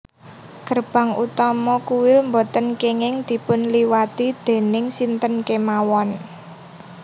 Gerbang utama kuil boten kenging dipunliwati déning sinten kemawon